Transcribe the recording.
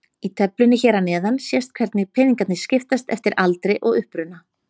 Í töflunni hér að neðan sést hvernig peningarnir skiptast eftir aldri og uppruna.